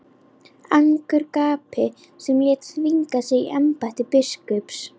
Angurgapi sem lét þvinga sig í embætti biskups.